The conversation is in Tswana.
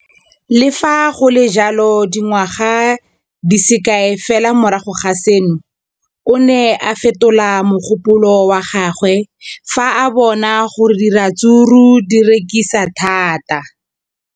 Le fa go le jalo, dingwaga di se kae fela morago ga seno, o ne a fetola mogopolo wa gagwe fa a bona gore diratsuru di rekisiwa thata.